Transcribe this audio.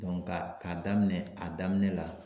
ka k'a daminɛ a daminɛ la